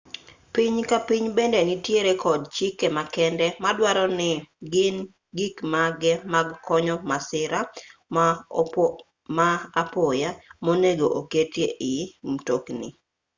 piny ka piny bende nitiere kod chike makende maduaro ni gin gikmage mag konyo masira ma apoya monego oketi ei mtokni